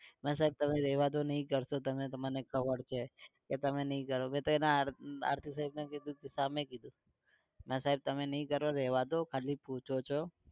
નાં સાહેબ રેવા દો નઈ કરસો તમે મને ખબર છે કે તમે નઈ કરો. મે તો હાર્દિક સાહેબ ને કીધું સામે કીધું નાં સાહેબ તમે નઈ કરો રેવા દો ખાલી પૂછો છો